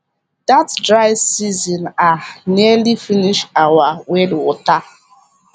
that dry season um nearly finish our well water